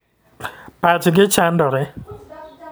Pach gi chandore .